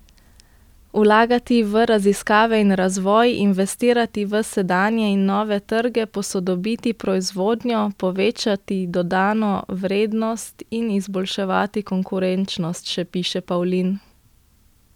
Vlagati v raziskave in razvoj, investirati v sedanje in nove trge, posodobiti proizvodnjo, povečati dodano vrednost in izboljševati konkurenčnost, še piše Pavlin.